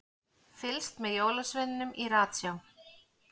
Fylgst með jólasveininum í ratsjá